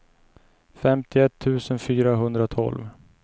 femtioett tusen fyrahundratolv